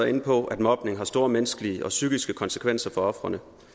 inde på at mobning har store menneskelige og psykiske konsekvenser for ofrene